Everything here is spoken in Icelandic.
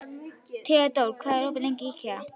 Þeódóra, hvað er opið lengi í IKEA?